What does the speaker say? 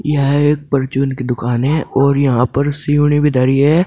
यह एक परचून की दुकान है और यहां पर भी धरी है।